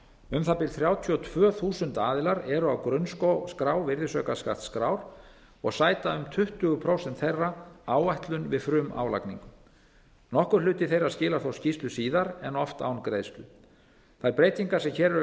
um það bil þrjátíu og tvö þúsund aðilar eru á grunnskrá virðisaukaskattsskrár og sæta um tuttugu prósent þeirra áætlun við frumálagningu nokkur hluti þeirra skilar þó skýrslu síðar en oft án greiðslu þær breytingar sem hér eru